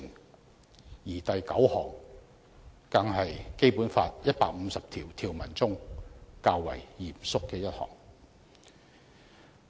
第七十三條第九項更是《基本法》150項條文中較為嚴肅的一項。